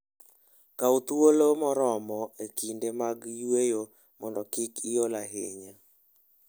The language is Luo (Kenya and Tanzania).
Kaw thuolo moromo e kinde mag yueyo mondo kik iol ahinya.